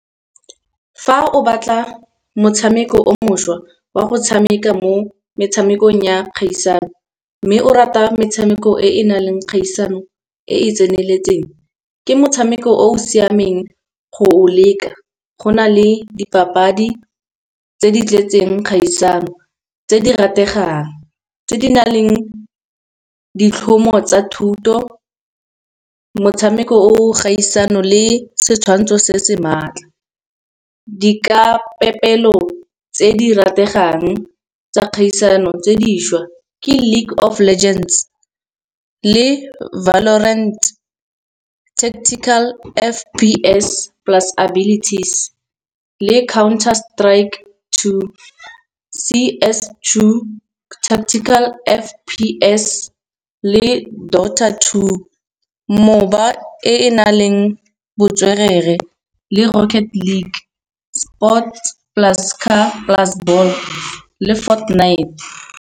Fa o batla motshameko o mošwa wa go tshameka mo metshamekong ya kgaisano, mme o rata metshameko e na leng kgaisano e e tseneletseng ke motshameko o o siameng go o leka. Go na le dipapadi tse di tletseng kgaisano, tse di rategang, tse di na leng ditlhomo tsa thuto motshameko o kgaisano le setshwantsho se se maatla. Dikapepelo tse di rategang tsa kgaisano tse dišwa ke league of legends, le valorant techtical F_P_S plus abilities, le counter strike two, C_S two, techtical F_P_S le daughter two. Moba e e na leng botswerere le rocket league, sport plus car plus ball le fort knight.